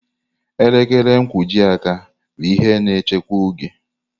Elekere nkwojiaka bụ ihe na-echekwa oge.